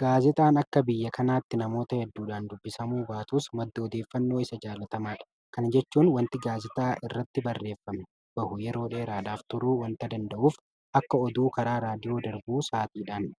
Gaazexaan akka biyya kanaatti namoota hedduudhaan dubbisamuu baatus madda odeeffannoo isa jaalatamaadha. Kana jechuun waanti Gaazexaa kana irratti barreeffamee bahu yeroo dheeraadhaaf turuu waanta danda'uuf akka aduu karaa Raadiyoo darbuu sa'aatiidhaan